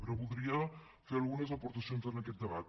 però voldria fer algunes aportacions en aquest debat